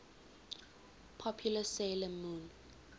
popular 'sailor moon